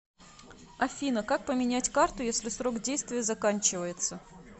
афина как поменять карту если срок действия заканчивается